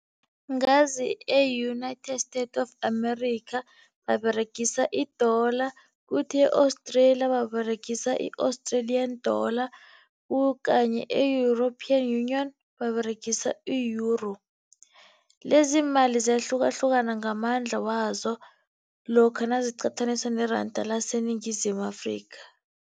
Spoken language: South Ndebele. Ngazi e-United States of America baberegisa i-dollar, kuthi e-Australia baberegisa i-Australian dollar okanye e-European Union, baberegisa i-Euro. Lezi iimali ziyahlukahlukana ngamandla wazo lokha naziqathaniswa neranda laseNingizimu Afrika.